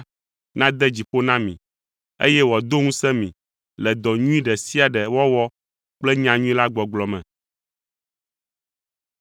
nade dzi ƒo na mi, eye wòado ŋusẽ mi le dɔ nyui ɖe sia ɖe wɔwɔ kple nyanyui la gbɔgblɔ me.